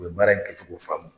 U ye baara in kɛcogo faamu.